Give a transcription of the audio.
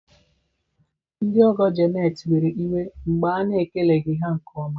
Ndị ọgọ Janet were iwe mgbe a na-ekeleghị ha nke ọma.